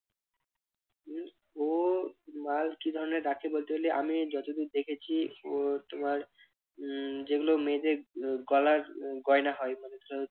উহ ও মাল কি ধরনের রাখে বলতে গেলে আমি যতদূর দেখেছি ও তোমার উহ যেগুলো মেয়েদের উহ গলার উহ গয়না হয় মানে ধরো